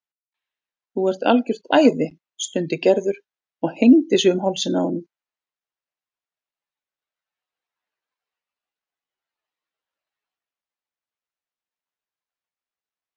Þú ert algjört æði stundi Gerður og hengdi sig um hálsinn á honum.